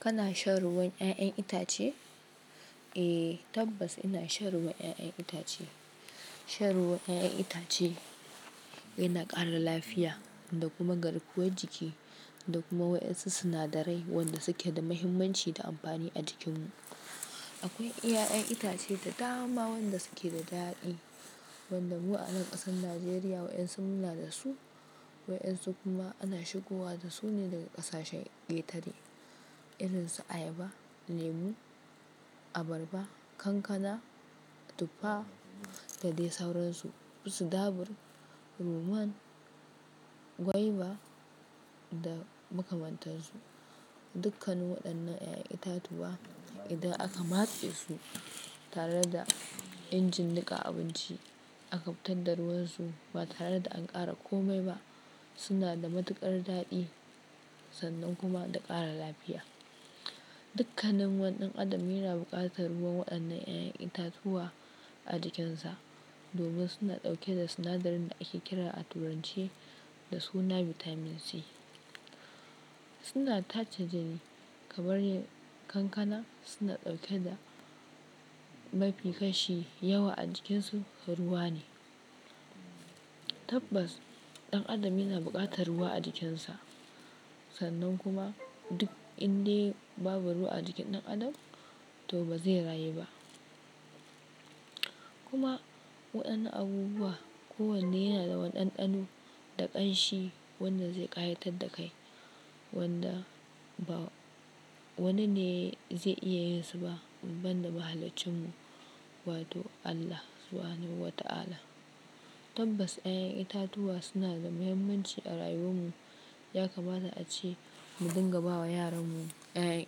Kana shan ruwan ƴaƴen itace? Eh, tabbas ina shan ruwan ƴaƴan itace. Shan ruwan ƴaƴen itace yana ƙara lafiya da kuma garkuwar jiki da kuma waƴansu sinadarai wanda su ke da mahimmanci da amfani a jikinmu. Akwai ƴaƴan itace da dama wanda su ke da daɗi, wanda mu a nan ƙasar Najeriya waƴansu muna da su, waƴansu kuma ana shigowa da su ne daga ƙasashen ƙetare. Irin su ayaba, lemu, abarba, kankana, tuffa da dai sauran su. Irin su dabur, ruman, gwaiba da makamantar su. Dukkanin waɗannan ƴaƴan itatuwa idan aka matse su tare da injin niƙa abinci aka fitar da ruwan su ba tare da an ƙara kome ba, suna da matuƙar daɗi sannan kuma da ƙara lafiya. Dukkanin wani ɗan adam yana buƙatar ruwan waɗannan ƴaƴan itatuwa a jikin sa, domin suna ɗauke da sinadarin da ake kira a Turance da suna Vitamin C. Suna tace jini, kamar kankana suna ɗauke da mafi kashi yawa a jikin su ruwa ne. Tabbas, ɗan adam yana buƙatar ruwa a jikin sa, sannan kuma duk indai babu ruwa a jikin ɗan adam to ba zai rayu ba. Kuma waɗannan abubuwa kowanne yana da wani waɗanɗano da ƙanshi wanda zai ƙayatar da kai, wanda ba wani ne zai iya yin su ba in banda mahaliccin mu wato Allah Subhanahu Wa Ta'ala. Tabbas ƴaƴan itatuwa suna da mahimmanci a rayuwar mu, ya kamata ace mu dinga bawa yaran mu ƴaƴan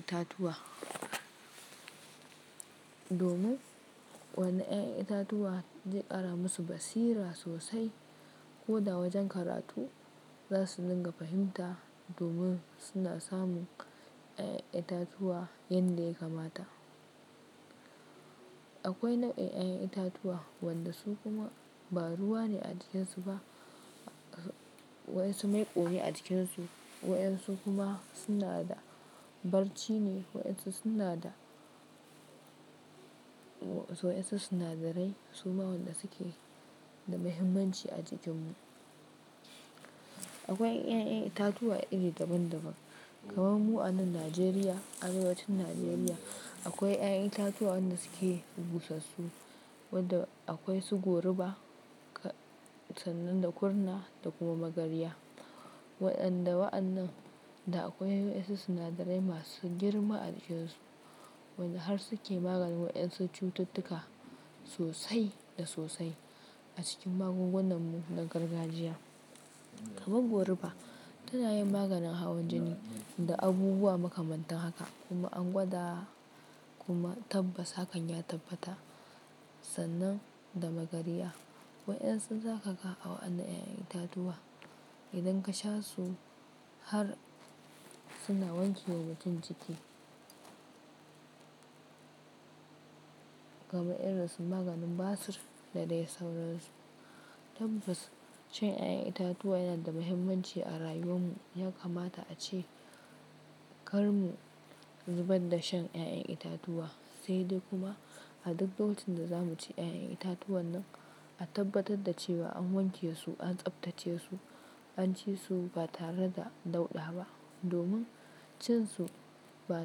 itatuwa. Domin wannan ƴaƴan itatuwa zai ƙara musu basira sosai, koda wajen karatu za su dinga fahimta domin suna samun ƴaƴan itatuwa yanda ya kamata. Akwai nau'in ƴaƴan itatuwa wanda su kuma ba ruwa ne a jikin su ba, waƴansu maiƙo ne a jikin su, waƴansu kuma suna da barci ne, waƴansu suna da, waƴansu sinadarai suma wanda su ke da mahimmanci a jikin mu. Akwai ƴaƴan itatuwa iri daban daban, kamar mu a nan Najeriya, arewacin Najeriya akwai ƴaƴan itatuwa wanda su ke busassu, wanda akwai su goruba sannan da kurna da kuma magarya. Waɗanda waɗannan da akwai waƴansu sinadarai masu girma a jikin su, wanda har su ke maganin waƴansu cututtuka sosai da sosai a cikin magungunan mu na gargajiya. Kaman goruba tana yin maganin hawan jini da abubuwa makamantan haka, kuma an gwada kuma tabbas hakan ya tabbata sannan da magarya. Waƴansu za ka ga a wa'yannan ƴaƴan itatuwa, idan ka sha su har suna wanke wa mutum jiki. Kamar irin su maganin basir da dai sauransu. Tabbas shan ƴaƴan itatuwa yana da mahimmanci a rayuwar mu, ya kamata ace kar mu zubar da shan ƴaƴan itatuwa, sai dai kuma a duk lokacin da za mu ci ƴaƴan itatuwan nan a tabbatar da cewa an wanke su, an tsaftace su, an ci su ba tare da dauɗa ba. Domin cin su ba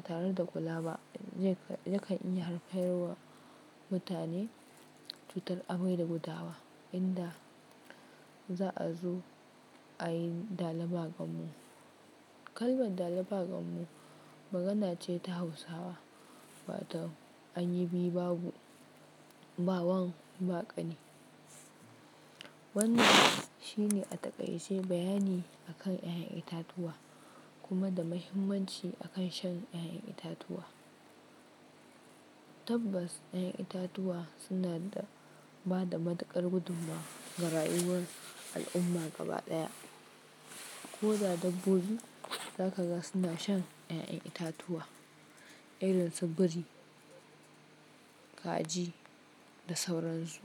tare da kula ba yakan iya haifar wa mutane cutar amai da gudawa, inda za'a zo a yi dala ba gammo Kalmar dala ba gammo magana ce ta Hausawa waton an yi biyu babu, ba wan ba ƙani. Wannan shine a taƙaice bayani akan ƴaƴan itatuwa, kuma da mahimmanci akan shan ƴaƴan itatuwa. Tabbas ƴaƴan itatuwa suna ba da matuƙar gudummawa ga rayuwar al'umma gaba ɗaya. Koda dabbobi za ka ga suna shan ƴaƴan itatuwa irin su biri, kaji da sauransu.